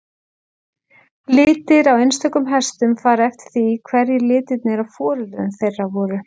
Litir á einstökum hestum fara eftir því hverjir litirnir á foreldrum þeirra voru.